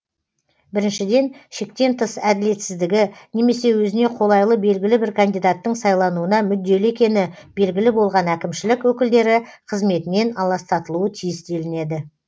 біріншіден шектен тыс әділетсіздігі немесе өзіне қолайлы белгілі бір кандидаттың сайлануына мүдделі екені белгілі болған әкімшілік өкілдері қызметінен аластатылуы тиіс делінеді